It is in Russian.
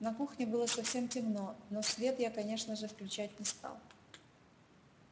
на кухне было совсем темно но свет я конечно же включать не стал